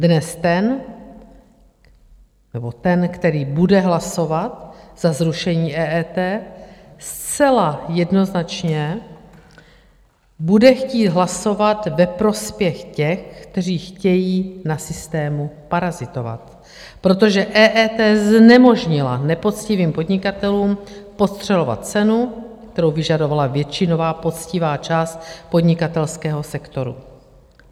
Dnes ten nebo ten, který bude hlasovat za zrušení EET, zcela jednoznačně bude chtít hlasovat ve prospěch těch, kteří chtějí na systému parazitovat, protože EET znemožnila nepoctivým podnikatelům podstřelovat cenu, kterou vyžadovala většinová poctivá část podnikatelského sektoru.